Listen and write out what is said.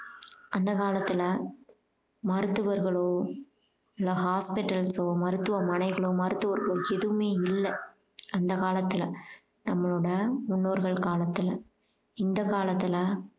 அந்த காலத்துல மருத்துவர்களோ இல்ல hospitals ஒ மருத்துவமனைகளோ மருத்துவர்களோ எதுவுமே இல்ல அந்த காலத்துல நம்மளோட முன்னோர்கள் காலத்துல இந்த காலத்துல